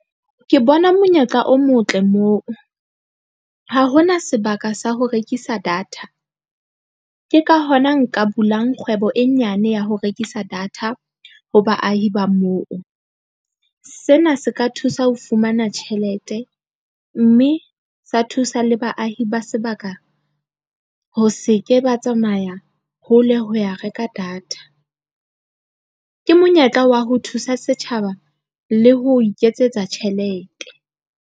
Ke bona monyetla o motle moo ha hona sebaka sa ho rekisa data, ke ka hona nka bulang kgwebo e nyane ya ho rekisa data ho baahi ba moo. Sena se ka thusa ho fumana tjhelete mme sa thusa le baahi ba sebaka, ho se ke ba tsamaya hole ho ya reka data. Ke monyetla wa ho thusa setjhaba le ho iketsetsa tjhelete.